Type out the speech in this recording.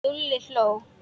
Lúlli hló.